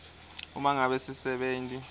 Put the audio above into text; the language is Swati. uma ngabe sisebenti